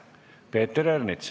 Peeter Ernits.